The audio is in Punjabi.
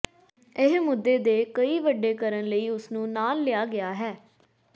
ਇਹ ਮੁੱਦੇ ਦੇ ਕਈ ਵੱਡੇ ਕਰਨ ਲਈ ਉਸ ਨੂੰ ਨਾਲ ਲਿਆ ਗਿਆ ਹੈ